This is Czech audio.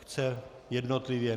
Chce jednotlivě?